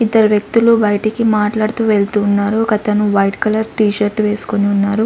ఇద్దరు వ్యక్తులు బయటికి మాట్లాడుతూ వెళ్తూ ఉన్నారు ఒకతను వైట్ కలర్ టీ షర్ట్ వేసుకొని ఉన్నారు.